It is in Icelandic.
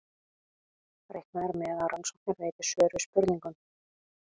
Reiknað er með að rannsóknir veiti svör við spurningum.